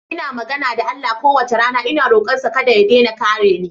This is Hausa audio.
Ina magana da Allah kowace rana ina rokonsa kada ya daina kare ni.